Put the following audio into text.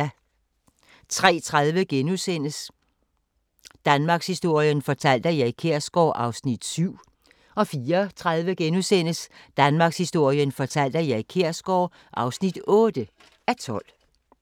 03:30: Danmarkshistorien fortalt af Erik Kjersgaard (7:12)* 04:30: Danmarkshistorien fortalt af Erik Kjersgaard (8:12)*